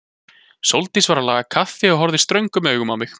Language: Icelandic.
Sóldís var að laga kaffi og horfði ströngum augum á mig.